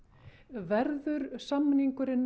verður samningurinn